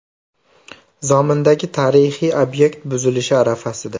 Zomindagi tarixiy obyekt buzilish arafasida .